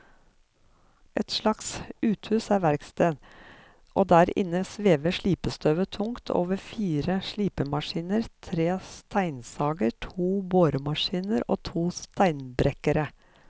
Et slags uthus er verksted, og der inne svever slipestøvet tungt over fire slipemaskiner, tre steinsager, to boremaskiner og to steinbrekkere.